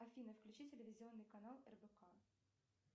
афина включи телевизионный канал рбк